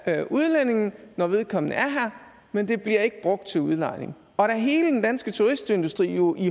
af udlændingen når vedkommende er her men det bliver ikke brugt til udlejning og da hele den danske turistindustri jo i